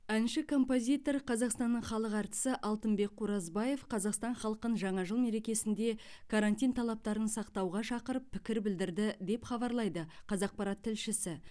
әнші композитор қазақстанның халық әртісі алтынбек қоразбаев қазақстан халқын жаңа жыл мерекесінде карантин талаптарын сақтауға шақырып пікір білдірді деп хабарлайды қазақпарат тілшісі